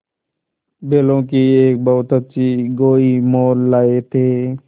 बैलों की एक बहुत अच्छी गोई मोल लाये थे